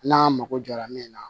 N'a mako jɔra min na